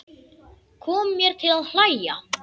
Kom mér til að hlæja.